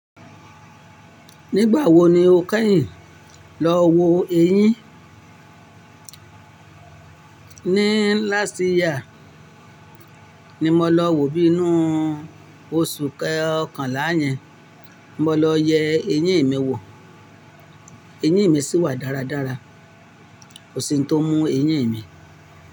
Nígbà wo ni o kẹ́yìn lọ wo eyín? Ni last year ni mo lọ wò ó bí inú oṣù kokànlá yẹn. Mo lọ yẹ eyín mi wò, eyín mi sì wà dáradára. Kò sí n tó mú eyín mi.